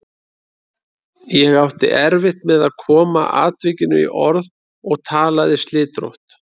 Ég átti erfitt með að koma atvikinu í orð og talaði slitrótt.